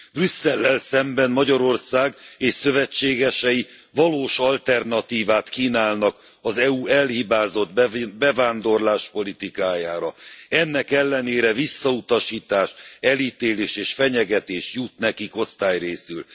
Brüsszellel szemben Magyarország és szövetségesei valós alternatívát kínálnak az EU elhibázott bevándorláspolitikájára ennek ellenére visszautasítás, elítélés és fenyegetés jut nekik osztályrészül.